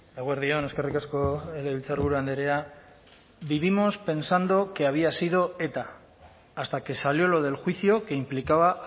eguerdi on eskerrik asko legebiltzarburu andrea vivimos pensando que había sido eta hasta que salió lo del juicio que implicaba a